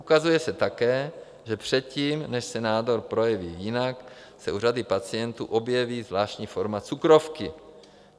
Ukazuje se také, že předtím, než se nádor projeví jinak, se u řady pacientů objeví zvláštní forma cukrovky.